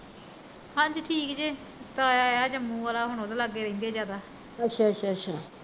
ਹੰਜੀ ਠੀਕ ਜੇ ਤਾਇਆ ਆਇਆ ਜੰਮੂ ਵਾਲਾ ਹੁਣ ਉਹਦੇ ਲਾਗੇ ਰਹਿੰਦੇ ਜਾਦਾ